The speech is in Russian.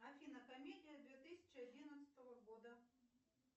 афина комедия две тысячи одиннадцатого года